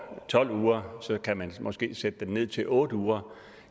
tolv uger kan man måske sætte det ned til otte uger